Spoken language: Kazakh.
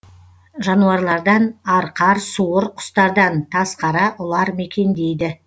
жануарлардан арқар суыр құстардан тазқара ұлар мекендейді